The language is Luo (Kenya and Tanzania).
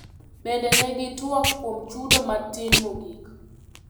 Bende ne gitwak kuom chudo matin mogik